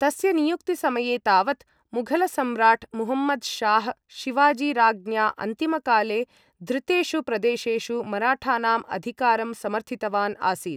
तस्य नियुक्तिसमये तावत्, मुघलसम्राट् मुहम्मद् शाह्, शिवाजी राज्ञा अन्तिमकाले धृतेषु प्रदेशेषु मराठानाम् अधिकारं समर्थितवान् आसीत्।